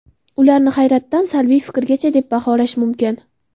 Ularni hayratdan salbiy fikrgacha deb baholash mumkin.